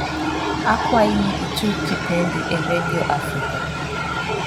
akwayi ni itug kipendi e redio africa